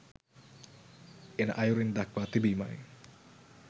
එන අයුරින් දක්වා තිබීමයි